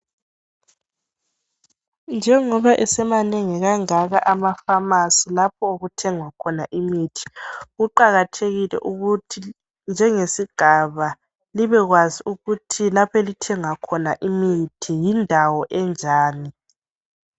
Njengoba esemanengi kangaka amafamasi lapho okuthengwa khona imithi kuqakathekile ukuthi njengesigaba libekwazi ukuthi lapho elithenga khona imithi yindawo enjani.